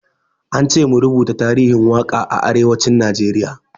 Ance mu rubuto tarihin waƙa a arewacin Najeriya.